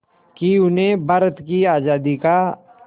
कि उन्हें भारत की आज़ादी का